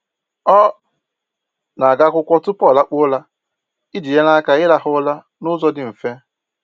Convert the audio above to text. Ọ na-agụ akwụkwọ tupu ọ lakpuo ụra iji nyere aka ịrahụ ụra n'ụzọ dị mfe.